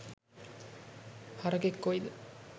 හරකෙක් කොයිද